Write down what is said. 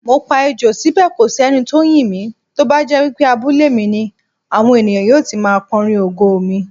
Mopa Ejò síbè kòsí enitó ńyìn mí, tóbájẹ́ wípé abúlé mi ni, àwọn ènìyàn yóò ti máa kọrin ògo mi.